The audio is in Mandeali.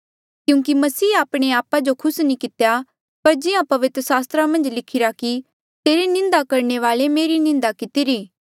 क्यूंकि मसीहे आपणे आपा जो खुस नी कितेया पर जिहां पवित्र सास्त्रा मन्झ लिखिरा कि तेरे निंदा करणे वाले री मेरी निंदा कितिरी